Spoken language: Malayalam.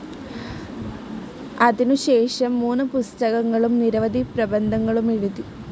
അതിനു ശേഷം, മൂന്ന് പുസ്തകങ്ങളും, നിരവധി പ്രബദ്ധങ്ങളും എഴുതി.